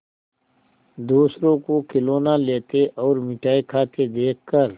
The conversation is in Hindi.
दूसरों को खिलौना लेते और मिठाई खाते देखकर